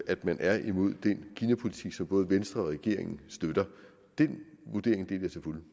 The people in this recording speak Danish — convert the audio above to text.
at man er imod den kinapolitik som både venstre og regeringen støtter den vurdering deler